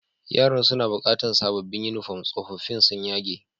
Yaran suna bukatan sabobin uniform, sofofin sun yage.